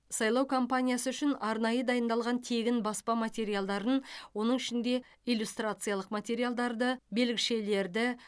сайлау компаниясы үшін арнайы дайындалған тегін баспа материалдарын оның ішінде иллюстрациялық материалдарды белгішелерді